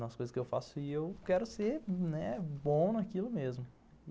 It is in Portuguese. nas coisas que eu faço e eu quero ser bom naquilo mesmo.